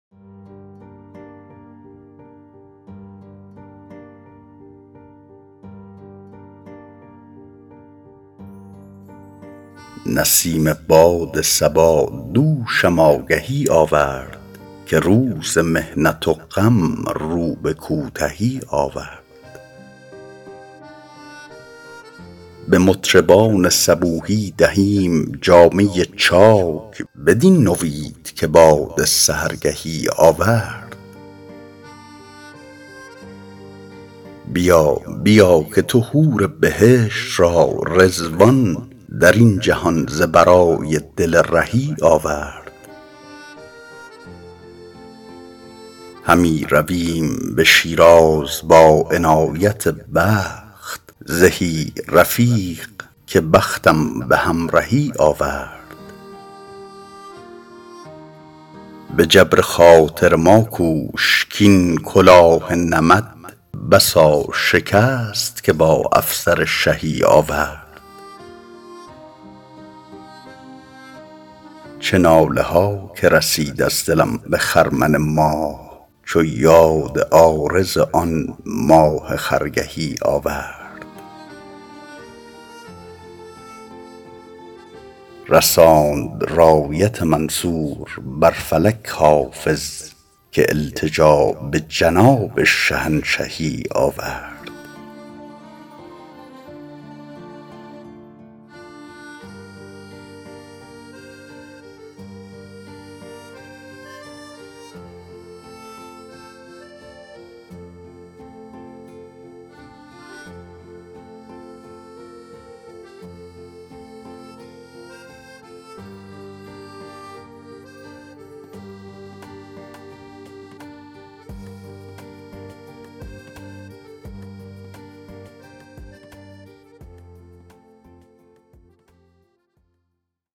برید باد صبا دوشم آگهی آورد که روز محنت و غم رو به کوتهی آورد به مطربان صبوحی دهیم جامه چاک بدین نوید که باد سحرگهی آورد بیا بیا که تو حور بهشت را رضوان در این جهان ز برای دل رهی آورد همی رویم به شیراز با عنایت دوست زهی رفیق که بختم به همرهی آورد به جبر خاطر ما کوش کـ این کلاه نمد بسا شکست که با افسر شهی آورد چه ناله ها که رسید از دلم به خرمن ماه چو یاد عارض آن ماه خرگهی آورد رساند رایت منصور بر فلک حافظ که التجا به جناب شهنشهی آورد